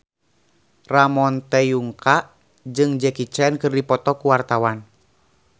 Ramon T. Yungka jeung Jackie Chan keur dipoto ku wartawan